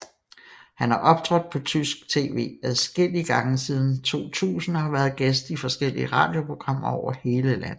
Han har optrådt på tysk tv adskillige gange siden 2000 og har været gæst i forskellige radioprogrammer over hele landet